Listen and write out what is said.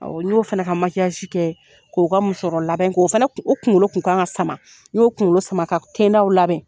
Awɔ n y'o fana ka kɛ k'o ka musɔrɔ labɛn o fɛnɛ o kunkolo kun kan ka sama n y'o kunkolo sama ka tendaw labɛn.